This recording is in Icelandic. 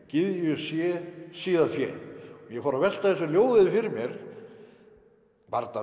gyðju sé síðar fé ég fór að velta þessu ljóði fyrir mér var þetta